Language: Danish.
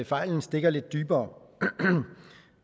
fejlen stikker lidt dybere